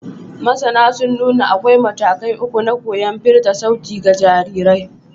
Masana sun nuna akwai matakai uku na koyon firta sauti ga jarirai.